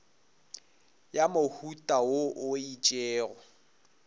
ya mohuta wo o itšego